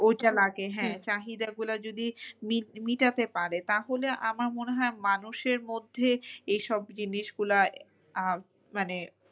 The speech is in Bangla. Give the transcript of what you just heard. ওইটা লাগে হ্যাঁ চাহিদা গুলো যদি মেটাতে পারে তাহলে আমার মনে হয় মানুষের মধ্যে এই সব জিনিস গুলা আহ মানে